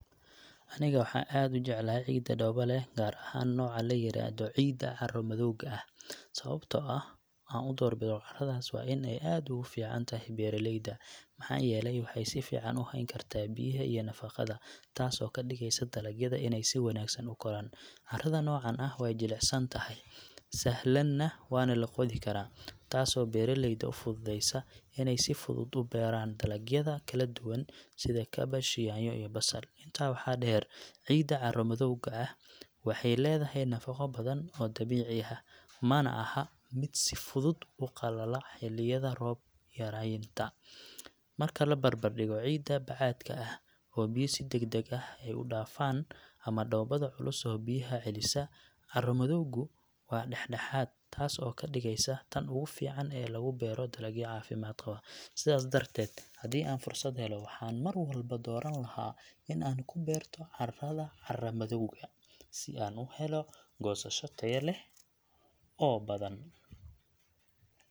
Aniga waxaan aad u jeclahay ciidda dhooba leh, gaar ahaan nooca la yiraahdo ciidda carro-madowga ah. Sababtoo ah aan u doorbido carradaas waa in ay aad ugu fiican tahay beeraleyda, maxaa yeelay waxay si fiican u hayn kartaa biyaha iyo nafaqada, taasoo ka dhigaysa dalagyada inay si wanaagsan u koraan. Carrada noocan ah way jilicsan tahay, sahalna waa loo qodi karaa, taasoo beeraleyda u fududeysa inay si fudud u beeraan dalagyada kala duwan sida kaabash, yaanyo, iyo basal. Intaa waxaa dheer, ciidda carro-madowga ah waxay leedahay nafaqo badan oo dabiici ah, mana aha mid si fudud u qalala xilliyada roob yaraynta. Marka la barbar dhigo ciidda bacaadka ah oo biyo si degdeg ah ay u dhaafaan ama dhoobada culus oo biyaha celisa, carro-madowgu waa dhexdhexaad, taas oo ka dhigaysa tan ugu fiican ee lagu beero dalagyo caafimaad qaba. Sidaas darteed, haddii aan fursad helo, waxaan mar walba dooran lahaa in aan ku beerto carrada carra-madowga ah si aan u helo goosasho tayo leh oo badan.